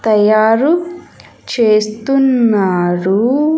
తయారు చేస్తున్నారు.